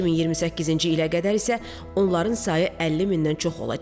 2028-ci ilədək isə onların sayı 50 mindən çox olacaq.